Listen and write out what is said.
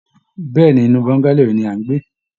Bẹ́ẹ̀ ni, inú bongalow yìí ni à ń gbé